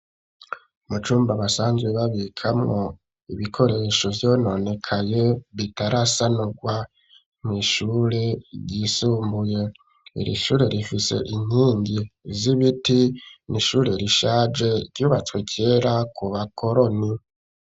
Mucumba basanzwe babikamwo ibikoresho vyononekaye bitarasanurwa mwishure ryisumbuye irishure rifise inkingi z'ibiti n'ishure rishaje ryubatswe kera ku bakoroni.